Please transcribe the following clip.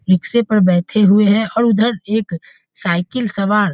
रिक्शे पर बैठे हुए है और ऊधर एक साइकिल सवार --